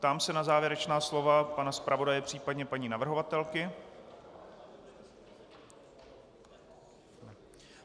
Ptám se na závěrečná slova pana zpravodaje, případně paní navrhovatelky.